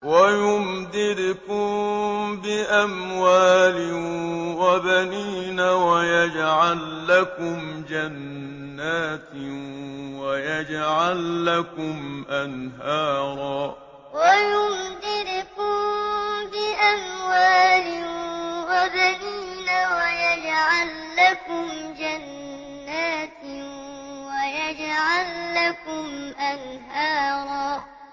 وَيُمْدِدْكُم بِأَمْوَالٍ وَبَنِينَ وَيَجْعَل لَّكُمْ جَنَّاتٍ وَيَجْعَل لَّكُمْ أَنْهَارًا وَيُمْدِدْكُم بِأَمْوَالٍ وَبَنِينَ وَيَجْعَل لَّكُمْ جَنَّاتٍ وَيَجْعَل لَّكُمْ أَنْهَارًا